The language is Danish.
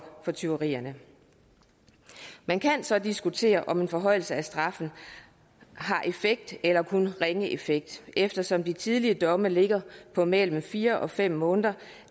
for tyverierne man kan så diskutere om en forhøjelse af straffen har effekt eller kun ringe effekt eftersom de tidligere domme ligger på mellem fire og fem måneder